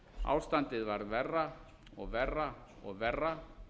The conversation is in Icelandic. ástandið varð verra og verra og verra